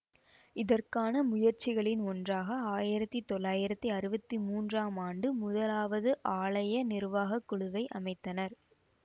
இதற்கான முயற்சிகளின் ஒன்றாக ஆயிரத்தி தொள்ளாயிரத்தி அறுவத்தி மூன்றாம் ஆண்டு முதலாவது ஆலய நிர்வாக குழுவை அமைத்தனர்